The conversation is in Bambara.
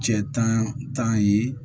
Cɛ tan ye